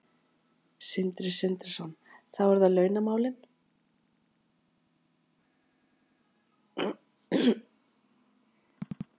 Sindri Sindrason: Þá eru það launamálin?